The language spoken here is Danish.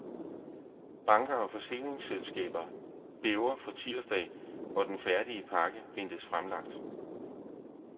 Banker og forsikringsselskaber bæver for tirsdag, hvor den færdige pakke ventes fremlagt.